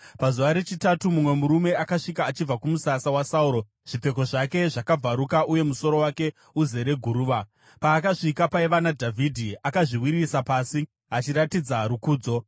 Pazuva rechitatu mumwe murume akasvika achibva kumusasa waSauro, zvipfeko zvake zvakabvaruka uye musoro wake uzere guruva. Paakasvika paiva naDhavhidhi, akazviwisira pasi achiratidza rukudzo.